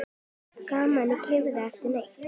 Geymið í kæli yfir nótt.